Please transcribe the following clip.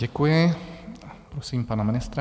Děkuji, prosím pana ministra.